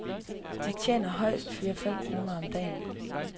De tjener højst fire fem kroner om dagen.